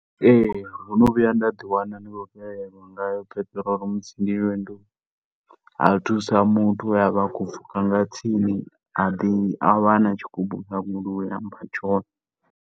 Ee, ndo no vhuya nda ḓiwana ndi khou fhelelwa nga peṱirolo musi ndi lwendoni, ha thusa muthu we a vha a tshi khou pfhuka nga tsini. A ḓi, a vha a na tshigubu kha goloi a mpha tshone.